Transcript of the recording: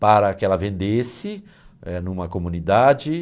para que ela vendesse eh, em uma comunidade.